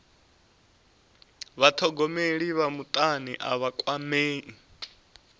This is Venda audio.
vhathogomeli vha mutani a vha kwamei